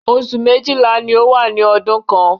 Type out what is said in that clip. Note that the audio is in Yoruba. Osù méjìlá ló wà ní ọdún kan